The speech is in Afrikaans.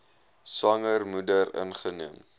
swanger moeder ingeneem